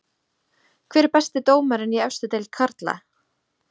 Hver er besti dómarinn í efstu deild karla?